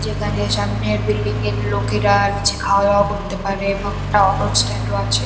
যেখানে সামনের বিল্ডিং -এর লোকেরা নীচে খাওয়া-দাওয়া করতে পারে এবং একটা অটো স্ট্যান্ড -ও আছে।